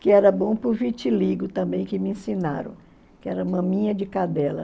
que era bom para o vitíligo também, que me ensinaram, que era maminha de cadela.